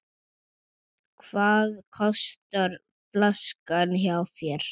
Hvað kostar flaskan hjá þér?